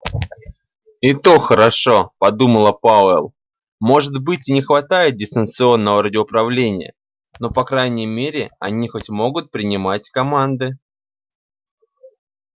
и то хорошо подумал пауэлл может быть и не хватает дистанционного радиоуправления но по крайней мере они хоть могут принимать команды